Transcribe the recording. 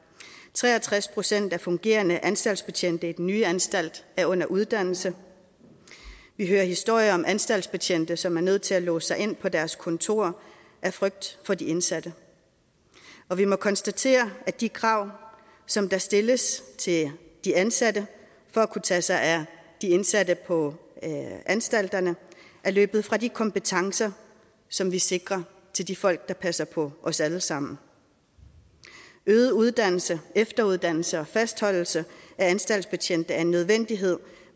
tre og tres procent af fungerende anstaltsbetjente i den nye anstalt er under uddannelse og vi hører historier om anstaltsbetjente som er nødt til at låse sig inde på deres kontor af frygt for de indsatte og vi må konstatere at de krav som der stilles til de ansatte for at kunne tage sig af de indsatte på anstalterne er løbet fra de kompetencer som vi sikrer de de folk der passer på os alle sammen øget uddannelse efteruddannelse og fastholdelse af anstaltsbetjente er en nødvendighed